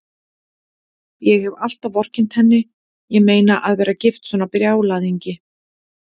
Ég hef alltaf vorkennt henni, ég meina, að vera gift svona brjálæðingi.